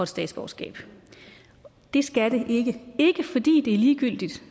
statsborgerskab det skal det ikke og det er ikke fordi det er ligegyldigt